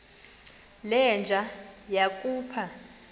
le nja yakhupha